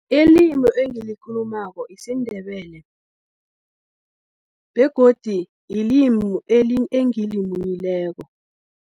Limu engilikhulumako, yisindebele, begodi yilimu engilimunyileko.